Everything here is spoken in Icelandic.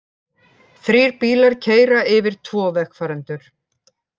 Þrír bílar keyra yfir tvo vegfarendur